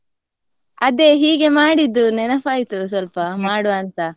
ಅದೇ ಹೀಗೆ ಮಾಡಿದ್ದು ನೆನಪಾಯ್ತು ಸ್ವಲ್ಪ ಮಾಡುವ ಅಂತ.